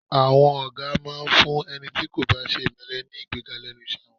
À̀wọn ọ̀gá máa ń fún ẹni tí kò bá ṣe ìmẹ́lẹ́ ní ìgbéga lẹ́nu iṣẹ́ wọn